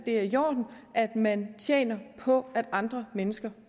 er i orden at man tjener på at andre mennesker